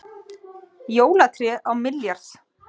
Jólatré á milljarð